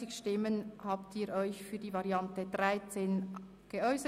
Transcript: Sie haben den Ordnungsantrag 13 angenommen.